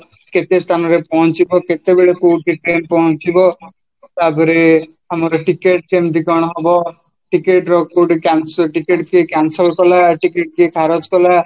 କେତେ ସ୍ଥାନରେ ପହଁଚିବା କେତେବେଳେ କୋଉଠି train ପହଁଚିବା ତାପରେ ଆମର ticket କେମିତି କ'ଣ ହବ ticket କୋଉଠି ଟିକେଟ ସିଏ cancel କଲା ticket କିଏ ଖାରଜ କଲା